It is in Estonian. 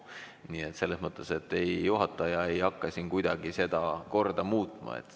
Nii et juhataja ei hakka kuidagi seda korda muutma.